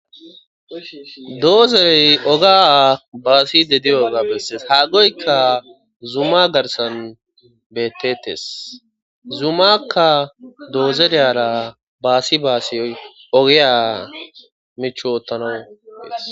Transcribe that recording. doozerey oga baasi de diyo oga bessees haaggoyka zuma garsan beettettes zumakka doozereyara baasi baasiy ogiya mich oottanawudees